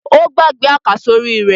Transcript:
Ó gbàgbé àkàsórí rẹ̀.